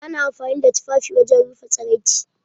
Ana amfani da tufafi wajen rufe tsaraici.